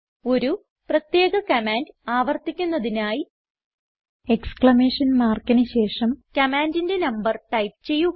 ഒരു പ്രത്യേക കമാൻഡ് ആവർത്തിക്കുന്നതിനായി എക്സ്ക്ലമേഷൻ മാർക്കിന് ശേഷം കമാൻഡിന്റെ നമ്പർ ടൈപ്പ് ചെയ്യുക